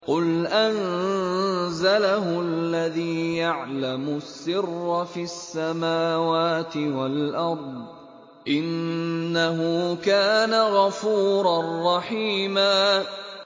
قُلْ أَنزَلَهُ الَّذِي يَعْلَمُ السِّرَّ فِي السَّمَاوَاتِ وَالْأَرْضِ ۚ إِنَّهُ كَانَ غَفُورًا رَّحِيمًا